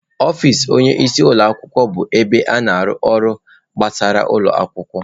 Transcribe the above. Ọfịs onye isi ụlọ akwụkwọ bụ ebe a na-arụ ọrụ gbasara ụlọ akwụkwọ.